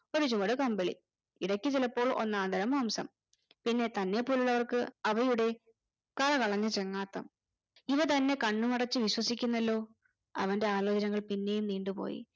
ഒരു ചുവട് കമ്പിളി ഇടയ്ക്ക് ചിലപ്പോ ഒന്നാന്തരം മാംസം പിന്നെ തന്നെപ്പോലെയുള്ളവർക്ക് അവയുടെ കരകളഞ്ഞ ചങ്ങാത്തം ഇവ തന്നെ കണ്ണുമടച്ച് വിശ്വസിക്കുന്നല്ലോ അവന്റെ ആലോചനകൾ പിന്നെയും നീണ്ടു പോയി